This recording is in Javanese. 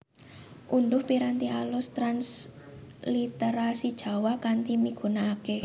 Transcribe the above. Undhuh piranti alus transliterasijawa kanthi migunakaké